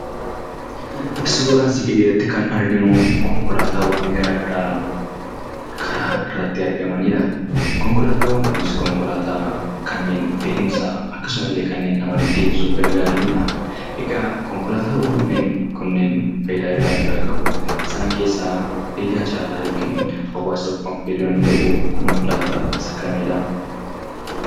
Suuraa asii gadiirratti kan arginu konkolaataawaan garaagaraa karaa irratti argamanidha. Konkolaataawwan kunneenis kanneen fe'iinsa kanneen nama deddeebisuuf gargaaranidha. Egaa konkolaataawwan kunneen fayidaawwan garaagaraa qabu. Isaan keessaa fayidaa caalaa yookaan hawaasaaf fayyaduu danda'u konkolaataa isa kamidhaa?